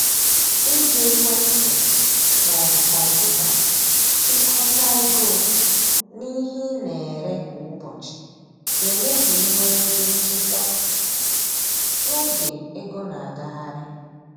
Iji ekwentị ma ọ bụ kọmpụta chịkọta ego na ihe ị na-ere kwa ụbọchị ga eme ka i nwee ezi nchịkwa n’oge ego na agagharị